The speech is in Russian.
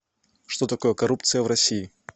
что такое коррупция в россии